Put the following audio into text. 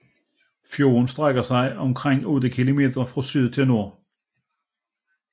Fjorden strækker sig omtrent 8 kilometer fra syd til nord